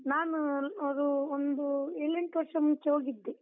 ನಾನು ಅದು ಒಂದು ಏಳೆಂಟ್ ವರ್ಷ ಮುಂಚೆ ಹೋಗಿದ್ದೆ.